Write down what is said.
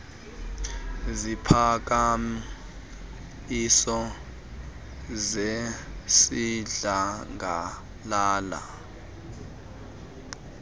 ziphakam iso zesidlangalala